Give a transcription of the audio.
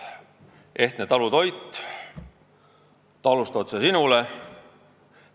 "Ehtne talutoit" ja "Talust otse Sinule".